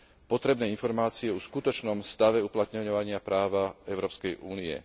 potrebné informácie o skutočnom stave uplatňovania práva Európskej únie.